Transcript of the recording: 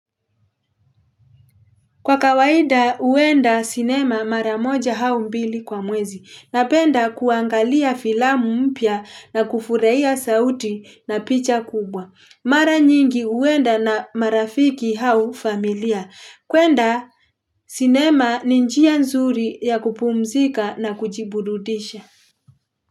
Kwa kawaida, huenda sinema mara moja au mbili kwa mwezi. Napenda kuangalia filamu mpya na kufurahia sauti na picha kubwa. Mara nyingi uenda na marafiki hau familia. Kwenda sinema ni njia nzuri ya kupumzika na kujiburudisha.